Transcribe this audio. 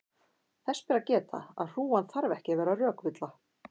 þess ber að geta að hrúgan þarf ekki að vera rökvilla